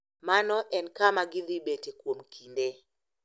Mano en kama gidhi bete kuom kinde.